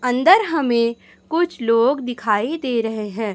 अंदर हमें कुछ लोग दिखाई दे रहे हैं।